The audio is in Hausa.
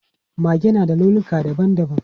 Mage na da launuka dabam dabam.